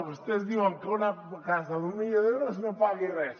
vostès diuen que una casa d’un milió d’euros no pagui res